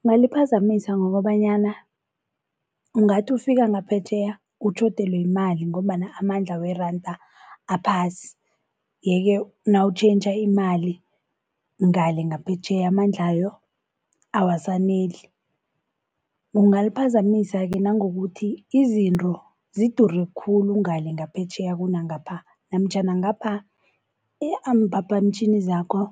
Kungaliphazamisa ngokobanyana ungathi ufika ngaphetjheya utjhodelwe yimali ngombana amandla weranda aphasi. Yeke nawutjhentjha imali ngale ngaphetjheya amandlayo awasaneli. Kungaliphazamisa-ke nangokuthi izinto zidure khulu ngale ngaphetjheya kunangapha, namtjhana ngapha imphaphamtjhini zakho